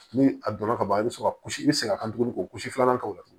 Ni a donna ka ban i bɛ sɔrɔ ka kusi i bɛ se ka tuguni k'o kusi filanan k'o la tugun